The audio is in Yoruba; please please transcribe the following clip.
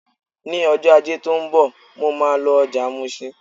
Ní ọjọ́ Ajé tó ń bọ̀, mo máa lọ ọjà Mushin.